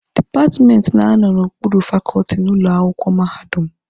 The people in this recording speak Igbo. Dipatmenti na-anọ n'okpuru fakọọtị n'ụlọ akwụkwọ mahadum.